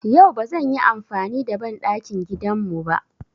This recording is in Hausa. Yau ba zan yi amfani da banɗakin gidan mu ba.